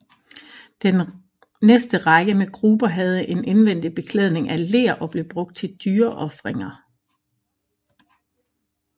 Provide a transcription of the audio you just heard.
Den næste række med gruber havde en indvendig beklædning af ler og blev brugt til at dyreofringer